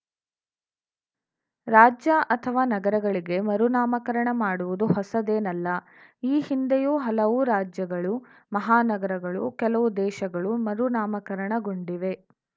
ರಾಜ್ಯ ಅಥವಾ ನಗರಗಳಿಗೆ ಮರುನಾಮಕರಣ ಮಾಡುವುದು ಹೊಸದೇನಲ್ಲ ಈ ಹಿಂದೆಯೂ ಹಲವು ರಾಜ್ಯಗಳು ಮಹಾನಗರಗಳು ಕೆಲವು ದೇಶಗಳೂ ಮರುನಾಮಕರಣಗೊಂಡಿವೆ